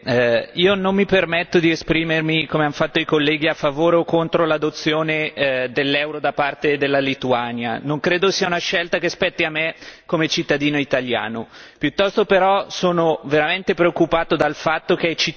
Signora Presidente, onorevoli colleghi, io non mi permetto di esprimermi, come hanno fatto i colleghi, a favore o contro l'adozione dell'euro da parte della Lituania. Non credo sia una scelta che spetti a me come cittadino italiano.